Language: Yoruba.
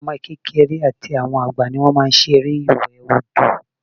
Àwọn ọmọ kékeré àti àwọn àgbà ni wọ́n máa n ṣe eré ìwẹ̀ odò